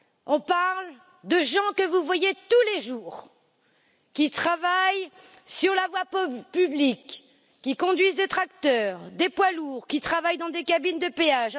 On parle de personnes que vous voyez tous les jours, qui travaillent sur la voie publique, qui conduisent des tracteurs, des poids lourds, qui travaillent dans des cabines de péage.